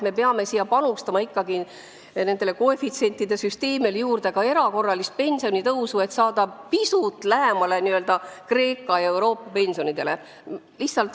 Me peame lisaks sellele koefitsientide süsteemile panustama ka erakorralisse pensionitõusu, et saada pisut lähemale näiteks Kreeka ja muu Euroopa pensionitele.